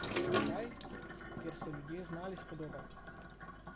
Kraj, kjer so ljudje znali s podobami.